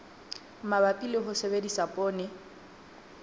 mabapi le ho sebedisa poone